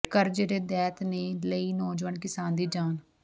ਕਰਜ਼ੇ ਦੇ ਦੈਂਤ ਨੇ ਲਈ ਨੌਜਵਾਨ ਕਿਸਾਨ ਦੀ ਜਾਨ